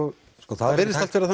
það virðist vera